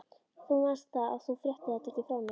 Þú manst það, að þú fréttir þetta ekki frá mér.